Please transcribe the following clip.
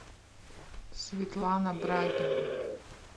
светлана брагина